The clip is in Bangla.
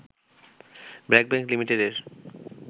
ব্র্যাক ব্যাংক লিঃ এর